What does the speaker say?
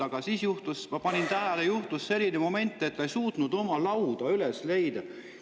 Aga siis oli, ma panin tähele, selline moment, et ta ei suutnud oma lauda üles leida.